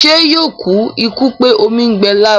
Ṣé yóò kú ikú pé omi ń gbẹ lára?